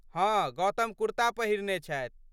हँ, गौतम कुर्ता पहिरने छथि।